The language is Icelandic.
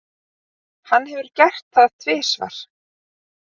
Hann hefur gert það tvisvar.